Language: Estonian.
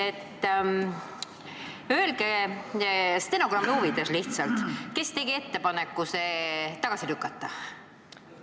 Öelge stenogrammi huvides, kes tegi ettepaneku see tagasi lükata!